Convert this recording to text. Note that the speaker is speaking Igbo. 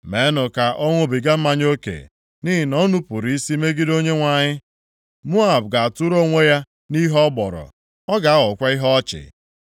“Meenụ ya ka ọ ṅụbiga mmanya oke, nʼihi na o nupuru isi megide Onyenwe anyị. Moab ga-atụrụ onwe ya nʼihe ọ gbọrọ. Ọ ga-aghọkwa ihe ọchị.